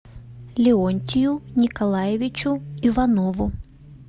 леонтию николаевичу иванову